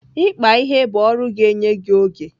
Ịkpa ihe bụ ọrụ ga-enye gị oge.